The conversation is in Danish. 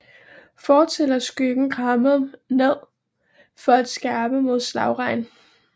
Fortil er skyggen krammet ned for at skærme mod slagregn